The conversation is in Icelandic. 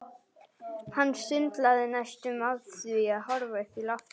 Hann sundlaði næstum af því að horfa upp í loftið.